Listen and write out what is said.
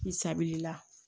I sabilila